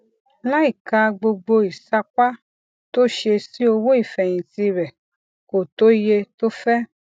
láìka gbogbo ìsapá tó ṣe sí owó ìfèyìntì rè kò tó iye tó fé